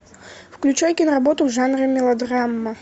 включай киноработу в жанре мелодрама